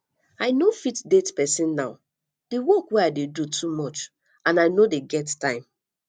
i no fit date person now the work wey i dey do too much and i no dey get time